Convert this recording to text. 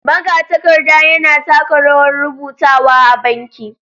Magatakarda yana taka rawar rubutawa a banki.